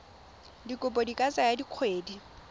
dikopo di ka tsaya dikgwedi